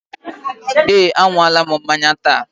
Eé, a ṅụọla m mmanya taa.